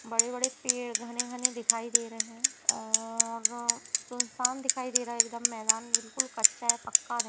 बड़े-बड़े पेड़ घने-घने दिखाई दे रहे हैं और अ सुनसान दिखाई दे रहा है एकदम मैदान बिल्कुल कच्चा है पक्का नहीं --